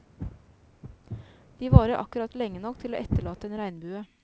De varer akkurat lenge nok til å etterlate en regnbue.